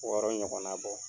Wɔɔrɔ ɲɔgɔnna bɔ.